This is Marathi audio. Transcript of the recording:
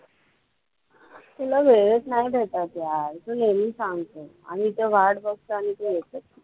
तुला वेळचं नाही भेटत यार. तू नेहमी सांगतो आम्ही इथे वाट बघतो आणि तू येतच नाही.